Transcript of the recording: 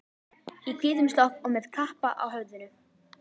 Í hvítum slopp og með kappa á höfðinu.